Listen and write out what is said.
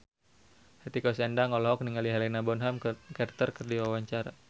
Hetty Koes Endang olohok ningali Helena Bonham Carter keur diwawancara